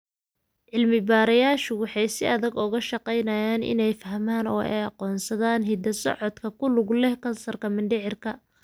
Cilmi-baarayaashu waxay si adag uga shaqeynayaan inay fahmaan oo ay aqoonsadaan hidda-socodka ku lug leh kansarka mindhicirka.